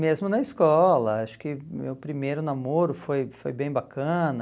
Mesmo na escola, acho que meu primeiro namoro foi foi bem bacana.